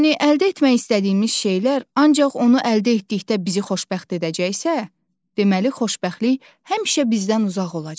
Yəni əldə etmək istədiyimiz şeylər ancaq onu əldə etdikdə bizi xoşbəxt edəcəksə, deməli xoşbəxtlik həmişə bizdən uzaq olacaq.